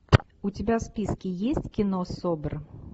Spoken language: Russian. у тебя в списке есть кино собр